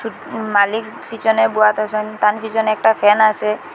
মালিক পিছনে বোয়াত আসেন তার পিছনে একটা ফ্যান আসে।